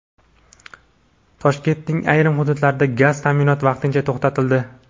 Toshkentning ayrim hududlarida gaz ta’minoti vaqtincha to‘xtatildi.